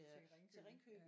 Til Ringkøbing ja